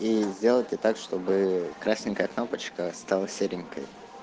и сделайте так чтобы красненькая кнопочка стала серенькой